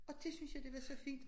Og dét synes jeg det var så fint